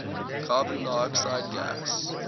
carbon dioxide gas